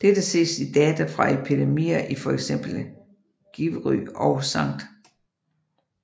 Dette ses i data fra epidemier i for eksempel Givry og St